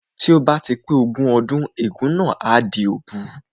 Tí ó bá ti pé ọmọ ogún ọdún ègún náà á di òbu